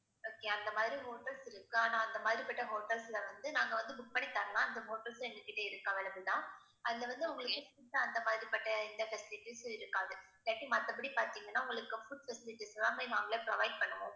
okay அந்த மாதிரி hotels இருக்கு ஆனா அந்த மாதிரிப்பட்ட hotels ல வந்து நாங்க வந்து book பண்ணி தரலாம். அந்த hotels எங்ககிட்டே இருக்கு available தான் அதுல வந்து உங்களுக்கு food உ அந்தமாதிரிப்பட்ட எந்த facilities ம் இருக்காது. இல்லாட்டி மத்தபடி பார்த்தீங்கன்னா உங்களுக்கு food facilities எல்லாமே நாங்களே provide பண்ணுவோம்